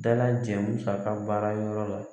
Dalajɛ musaka baara yɔrɔ la